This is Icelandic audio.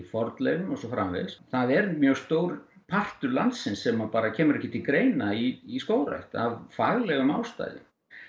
fornleifum og svo framvegis það er mjög stór partur landsins sem bara kemur ekki til greina í skógrækt af faglegum ástæðum